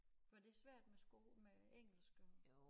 Var det svært med sko med engelsk og